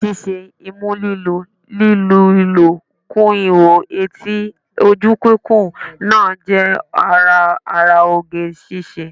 Ara sísín, imú lílu, lí lu ihò kún ihò etí, ojú kíkùn náà jẹ́ ara ara oge ṣíṣe